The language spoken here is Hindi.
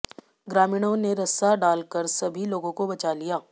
ग्रामीणों ने रस्सा डाल कर सभी लोगों को बचा लिया